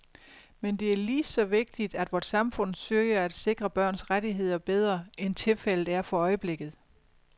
Men det er lige så vigtigt, at vort samfund søger at sikre børns rettigheder bedre, end tilfældet er for øjeblikket.